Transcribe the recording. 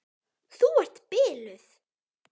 Þú ert biluð!